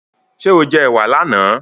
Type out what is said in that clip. Ṣé o jẹ ẹ̀wà láàná?